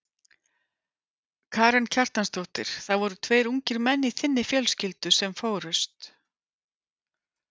Karen Kjartansdóttir: Það voru tveir ungir menn í þinni fjölskyldu sem fórust?